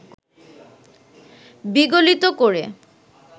বিগলিত করে